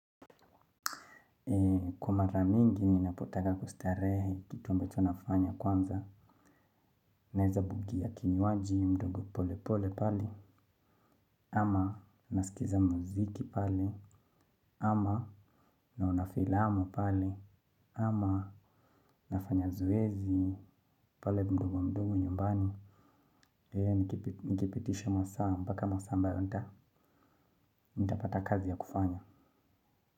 Kwa mara mingi ninapotaka kustare kitu ambetcho nafanya kwanza. Naweza bugia kinywaji mdogo pole pole pale. Ama naskiza muziki pale. Ama naona filamu pale. Ama nafanya zoezi pale mdogo mdogo nyumbani. Eee nikipitisha masaa. Mpaka masaa ambayo nitapata kazi ya kufanya.